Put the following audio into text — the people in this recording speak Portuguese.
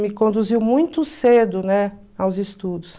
me conduziu muito cedo, né, aos estudos.